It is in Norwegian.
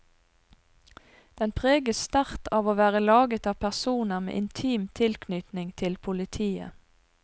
Den preges sterkt av å være laget av personer med intim tilknytning til politiet.